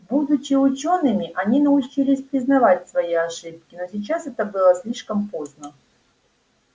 будучи учёными они научились признавать свои ошибки но сейчас это было слишком поздно